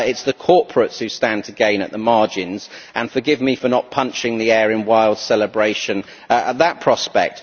It is the corporates who stand to gain at the margins, and forgive me for not punching the air in wild celebration at that prospect!